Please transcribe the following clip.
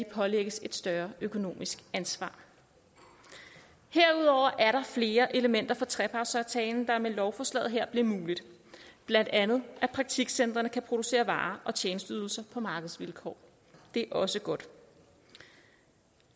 pålægges et større økonomisk ansvar herudover er der flere elementer fra trepartsaftalen der med lovforslaget her bliver mulige blandt andet at praktikcentrene kan producere varer og tjenesteydelser på markedsvilkår det er også godt